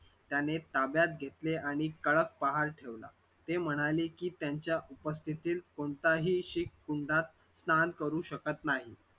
त्याने ताब्यात घेतले आणि कडक फ़ार ठेवला ते म्हणाले की त्यांच्या स्थितीत कोणताही शीख कुंड स्नान करू शकत नाही.